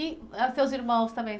E, ah, seus irmãos também?